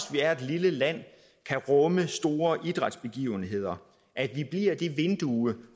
vi er et lille land kan rumme store idrætsbegivenheder at vi bliver det vindue